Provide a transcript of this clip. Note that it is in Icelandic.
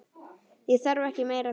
Það þarf ekki meira til.